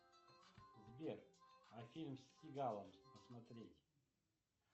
сбер а фильм с сигалом посмотреть